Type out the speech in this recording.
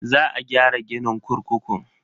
Za a gyara ginin kurkukun.